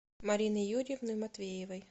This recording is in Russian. марины юрьевны матвеевой